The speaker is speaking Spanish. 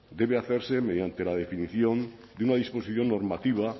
debe hacerse mediante la definición de una disposición normativa